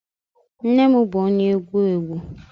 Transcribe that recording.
Nne m bụ onye agwu egwu.